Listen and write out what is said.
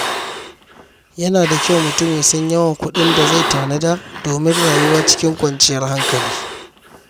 Yana da kyau mutum ya san yawan kuɗin da zai tanada domin rayuwa cikin kwanciyar hankali.